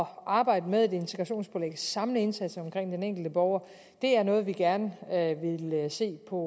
arbejde med et integrationspålæg og at samle indsatsen omkring den enkelte borger er noget vi gerne vil se på